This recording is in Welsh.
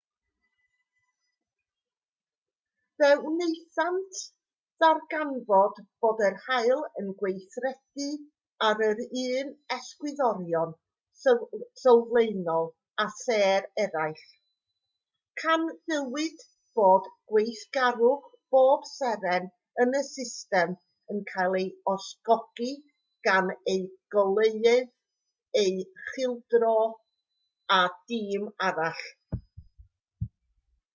fe wnaethant ddarganfod bod yr haul yn gweithredu ar yr un egwyddorion sylfaenol â sêr eraill canfuwyd bod gweithgarwch pob seren yn y system yn cael ei ysgogi gan eu goleuedd eu cylchdro a dim arall